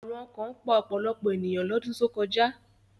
Àrùn ọkàn pa ọ̀pọ̀lọpọ̀ ènìyàn lọ́dún tó kọjá